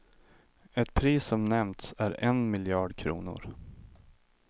Ett pris som nämnts är en miljard kronor.